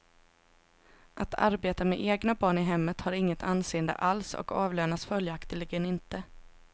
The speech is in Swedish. Att arbeta med egna barn i hemmet har inget anseende alls och avlönas följaktligen inte.